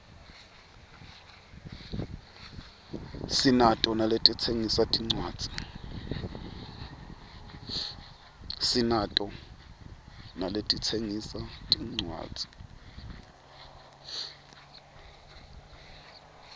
sinato naletitsengisa tincuadzi